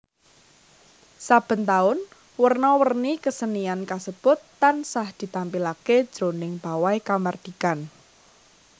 Saben taun werna wernai kasenian kasebut tansah ditampilaké jroning pawai kamardikan